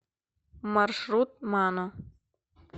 маршрут мано